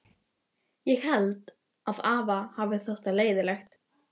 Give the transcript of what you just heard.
Ég held að afa hafi þótt það leiðinlegt.